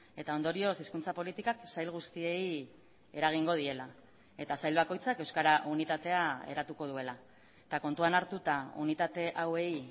eta ondorioz hizkuntza politikak sail guztiei eragingo diela eta sail bakoitzak euskara unitatea eratuko duela eta kontuan hartuta unitate hauei